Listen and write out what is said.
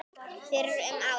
fyrir um ári.